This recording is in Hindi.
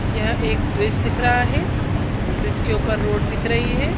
यह एक ब्रिज दिख रहा है ब्रिज के ऊपर रोड दिख रही हैं ।